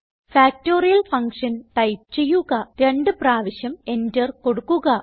factorial Function type ചെയ്യുക രണ്ട് പ്രാവശ്യം എന്റർ കൊടുക്കുക